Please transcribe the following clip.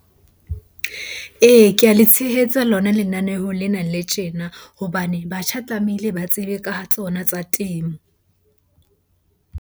Ee, ke a le tshehetsa lona lenaneho lena le tjena hobane batjha tlamehile ba tsebe ka ha tsona tsa temo.